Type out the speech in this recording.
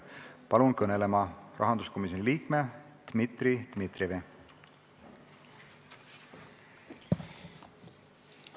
Palun kõnelema rahanduskomisjoni liikme Dmitri Dmitrijevi!